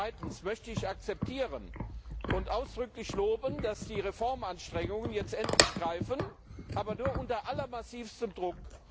Zweitens möchte ich akzeptieren und ausdrücklich loben, dass die Reformanstrengungen jetzt endlich greifen, aber nur unter allermassivstem Druck.